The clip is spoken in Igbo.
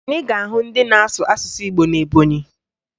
Anyị ga-ahụ ndị na-asụ asụsụ Igbo na Ebọnyị